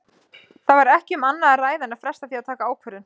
Það var ekki um annað að ræða en fresta því að taka ákvörðun.